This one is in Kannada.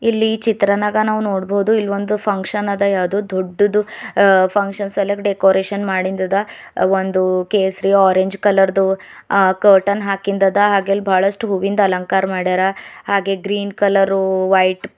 ಇಲ್ಲಿ ಚಿತ್ರನಾಗ ನಾವ ನೋಡಬಹುದು ಇಲ್ಲಿ ಒಂದ್ ಫಂಕ್ಷನ್ ಅದ ಯಾವ್ದೋ ದೊಡ್ಡದು ಅ ಫಂಕ್ಷನ್ ಸೆಲೆಬ್ರೇಟ್ ಡೆಕೋರೇಷನ್ ಮಾಡಿಂದ ಅದ ಒಂದು ಕೇಸರಿ ಆರೆಂಜ್ ಕಲರ್ ದು ಅ ಕರ್ಟನ್ ಹಾಕಿಂದ ಅದ ಹಾಗೆ ಅಲ್ಲಿ ಬಹಳಷ್ಟು ಹೂವಿಂದ ಅಲಂಕಾರ ಮಾಡ್ಯಾರ ಹಾಗೆ ಗ್ರೀನ್ ಕಲರ್ ವೈಟ್ --